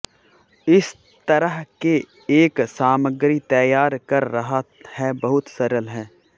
इस तरह के एक सामग्री तैयार कर रहा है बहुत सरल है